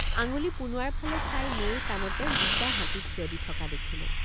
আঙুলি পোনোৱাৰ ফালে চাই নৈৰ কাণতে দুট৷ হাতী থিয় দি থকা দেখিলোঁ।